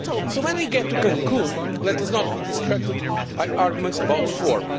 to do. When we get to Cancún, let us not be distracted by arguments about